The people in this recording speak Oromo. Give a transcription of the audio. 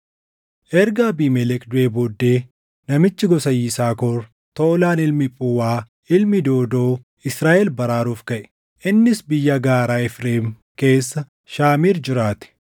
Erga Abiimelek duʼee booddee namichi gosa Yisaakor, Toolaan ilmi Phuwaa ilmi Doodoo Israaʼel baraaruuf kaʼe. Innis biyya gaaraa Efreem keessa Shaamiir jiraate.